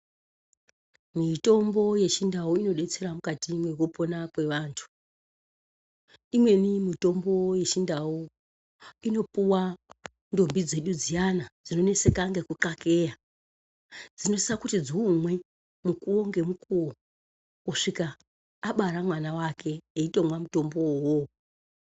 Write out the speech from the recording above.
Mitombo yechindau inodetsera mukati mekupona kwevantu imweni mitombo yechindau inopuwa ndombi dzedu dziyana dzinoneseka ngekukakeya dzinosisa kuti dziumwe mukuwo nemukuwo kusvika abara mwana wake eitomwa mutombo uwowo.